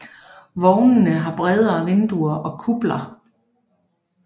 Vognene har brede vinduer og kupler